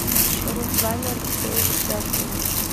руслане алексеевиче акулове